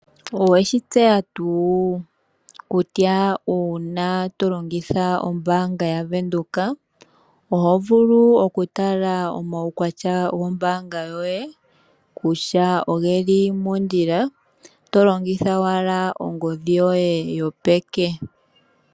Oweshi tseya tuu? Kutya una tolongitha ombanga yaBank Windhoek oho vulu oku tala oomawukwatya gombanga yoye kutya ogeli mondjila to longitha owala ongodhi yoye yopeke.